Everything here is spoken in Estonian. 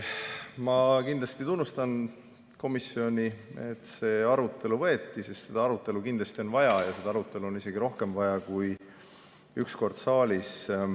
Ma tunnustan komisjoni, et see arutelu ette võeti, sest seda arutelu on kindlasti vaja ja seda arutelu on isegi rohkem vaja kui see üks kord siin saalis.